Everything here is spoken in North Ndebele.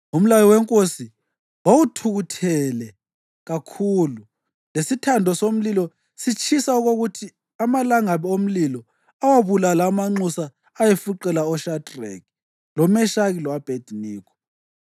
Umlayo wenkosi wawuthukuthele kakhulu lesithando somlilo sitshisa okokuthi amalangabi omlilo awabulala amanxusa ayefuqela oShadreki, loMeshaki lo-Abhediniko,